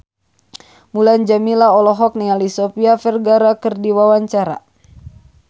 Mulan Jameela olohok ningali Sofia Vergara keur diwawancara